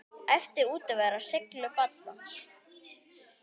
Eflir útivera seiglu barna?